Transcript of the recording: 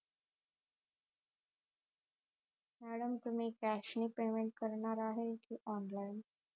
madam तुम्ही cash ने payment करणार आहे कि online